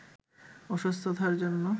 অসুস্থতার জন্য